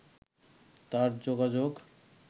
তার যোগাযোগ